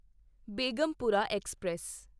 Begampura express